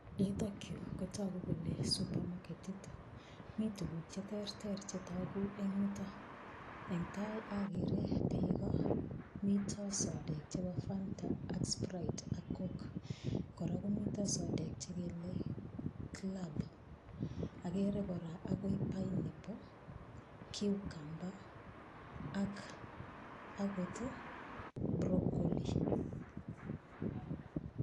Yutokyu kotoku kole supamaketit mi tukuk cheterter chetoku eng' yuto eng' tai agere beko mito sodek chebo Fanta ak sprite ak coke kora komito sodek chekeale club akere kora akoi pineapple cucumber ak akot broccoli